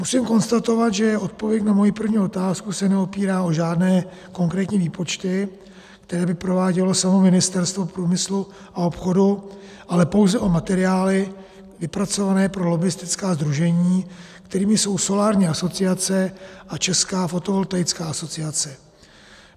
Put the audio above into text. Musím konstatovat, že odpověď na moji první otázku se neopírá o žádné konkrétní výpočty, které by provádělo samo Ministerstvo průmyslu a obchodu, ale pouze o materiály vypracované pro lobbistická sdružení, kterými jsou Solární asociace a Česká fotovoltaická asociace.